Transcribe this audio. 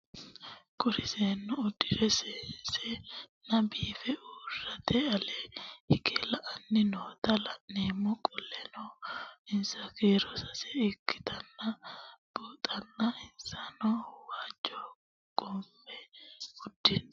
Kuri seenu udire sesena biife urite ale hige la'ani noota la'nemo qoleno insa kiiro sase ikinotana bunxana insano waajo qofe udune